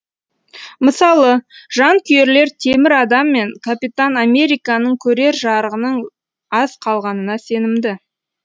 мысалы жанкүйерлер темір адам мен капитан американың көрер жарығының аз қалғанына сенімді